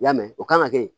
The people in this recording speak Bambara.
I y'a mɛn o kan ka kɛ yen